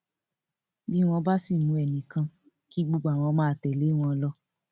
bí wọn bá sì mú ẹnì kan kí gbogbo àwọn máa tẹlé wọn lọ